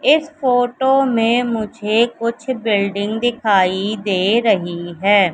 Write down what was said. इस फोटो में मुझे कुछ बिल्डिंग दिखाई दे रही है।